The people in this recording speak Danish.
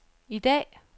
i dag